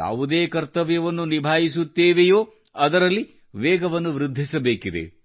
ಯಾವುದೇ ಕರ್ತವ್ಯವನ್ನು ನಿಭಾಯಿಸುತ್ತೇವೆಯೋ ಅದರಲ್ಲಿ ವೇಗವನ್ನು ವೃದ್ಧಿಸಬೇಕಿದೆ